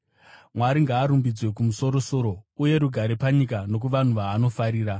“Mwari ngaarumbidzwe kumusoro-soro, uye rugare panyika nokuvanhu vaanofarira.”